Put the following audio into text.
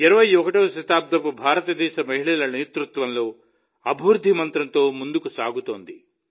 21వ శతాబ్దపు భారతదేశం మహిళల నేతృత్వంలో అభివృద్ధి మంత్రంతో ముందుకు సాగుతోంది